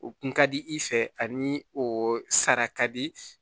O kun ka di i fɛ ani o sara ka di